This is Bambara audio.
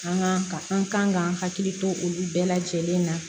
An kan ka an kan ka hakili to olu bɛɛ lajɛlen na